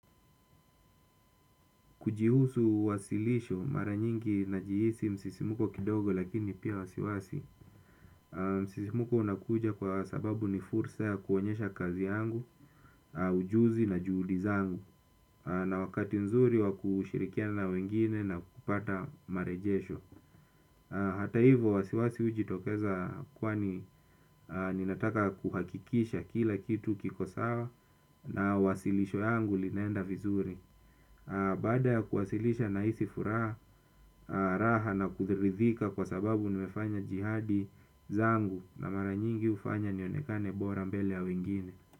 Kujihusu wasilisho mara nyingi najihisi msisimko kidogo lakini pia wasiwasi. Msisimko unakuja kwa sababu ni fursa kuonyesha kazi yangu, ujuzi na juhudi zangu na wakati nzuri wa kushirikiana wengine na kupata marejesho. Hata hivyo wasiwasi hujitokeza kwani ninataka kuhakikisha kila kitu kiko sawa na wasilisho yangu linenda vizuri. Baada ya kuwasilisha na hisi furaha raha na kuridhika kwa sababu nimefanya jihadi zangu na mara nyingi hufanya nionekane bora mbele ya wengine.